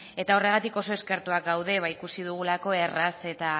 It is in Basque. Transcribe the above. eta horregatik oso eskertuak gaude ikusi dugulako erraz eta